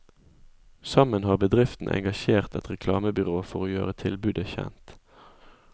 Sammen har bedriftene engasjert et reklamebyrå for å gjøre tilbudet kjent.